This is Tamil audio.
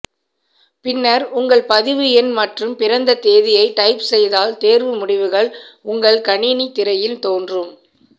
பின்னர் உங்கள் பதிவு எண் மற்றும் பிறந்த தேதியை டைப் செய்தால் தேர்வு முடிவுகள் உங்கள் கணினி திரையில் தோன்றும்